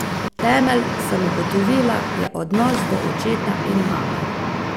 Temelj, sem ugotovila, je odnos do očeta in mame.